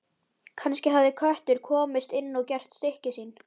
Kannski hafði köttur komist inn og gert stykki sín.